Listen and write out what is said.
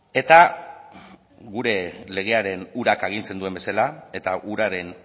eta gure legearen urak agintzen duen bezala eta uraren